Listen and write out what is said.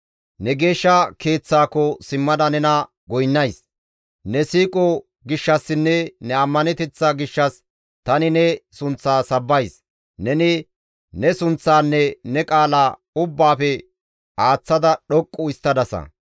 Ne geeshsha Keeththakko simmada nena goynnays; ne siiqo gishshassinne ne ammaneteththa gishshas tani ne sunththa sabbays; neni ne sunththaanne ne qaala ubbaafe aaththada dhoqqu histtadasa.